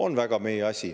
On väga meie asi.